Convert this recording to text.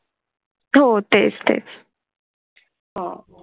हो तेस तेस हा.